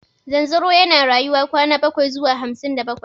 Zanzaro yana rayuwa kwana bakwai zuwa hamsin da bakwai.